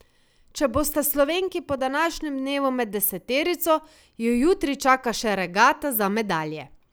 Če bosta Slovenki po današnjem dnevu med deseterico, ju jutri čaka še regata za medalje.